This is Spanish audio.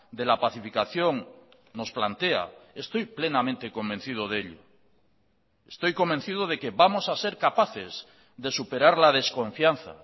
de la pacificación nos plantea estoy plenamente convencido de ello estoy convencido de que vamos a ser capaces de superar la desconfianza